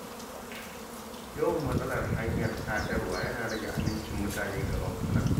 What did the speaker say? Yawan matsalar hanyar sadarwa yana rage amincin mutane ga bankuna.